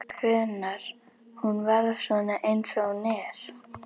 Hvenær hún varð svona eins og hún er.